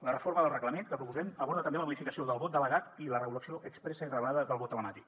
la reforma del reglament que proposem aborda també la modificació del vot delegat i la regulació expressa i reglada del vot telemàtic